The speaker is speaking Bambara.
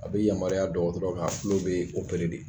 A be yamaruya dɔgɔtɔrɔ ka tulo be de.